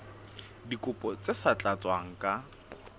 dikopo tse sa tlatswang ka